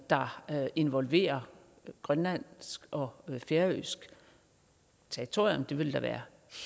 der involverer grønlandsk og færøsk territorium det ville da være